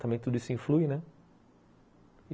Também tudo isso influi, né?